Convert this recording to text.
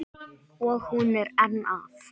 Og hún er enn að.